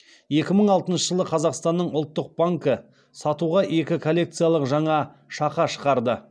екі мың алтыншы жылы қазақстанның ұлттық банкі сатуға екі коллекциялық жаңа шақа шығарды